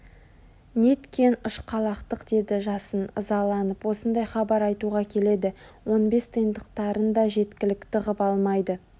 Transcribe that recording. неткен ұшқалақтық деді жасын ызаланып осындай хабар айтуға келеді он бес тиындықтарын да жеткілікті ғып алмайды